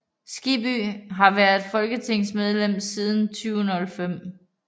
Skibby har været folketingsmedlem siden 2005